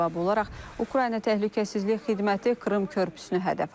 Buna cavab olaraq Ukrayna Təhlükəsizlik Xidməti Krım körpüsünü hədəf alıb.